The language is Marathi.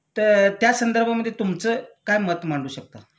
तर त्यासंदर्भामधे तुमचं काय मत मांडू शकता?